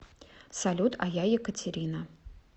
салют а я екатерина